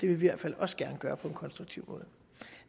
vi i hvert fald også gerne gøre på en konstruktiv måde